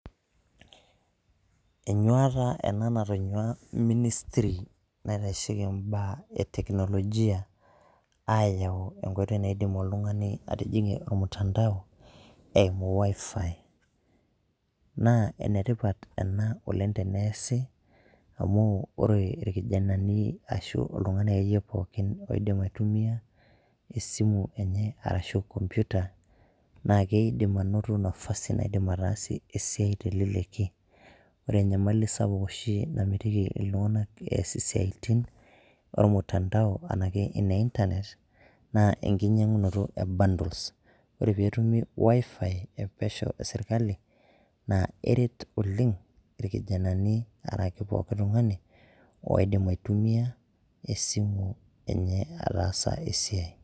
Enyuata ena natonyua Ministry naitasheki imbaa e teknolojia, ayau enkoitoi naidim oltung'ani atijing'ie olmtandao, eimu WiFi. Naa enetipat ena oleng teneesi, amu ore irkijanani ashu oltung'ani akeyie pookin oidim aitumia esimu enye arashu enkompiuta, na keidim anoto nafasi naidim ataasie esiai teleleki. Ore enyamali sapuk oshi namitiki iltung'anak ees isiaitin, olmtandao, enake ene Internet, naa enkinyang'unoto e bundles. Ore petumi WiFi epesho eserkali, na eret oleng irkijanani araki pooki tung'ani, oidim aitumia esimu enye ataasa esiai.